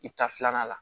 I ta filanan la